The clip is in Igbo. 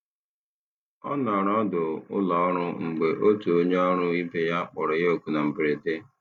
Ọ nọrọ ọdụ ụlọọrụ mgbe otu onye ọrụ ibe ya kpọrọ ya oku na mberede.